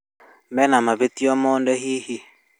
Mena mahĩtia o mothe hihi?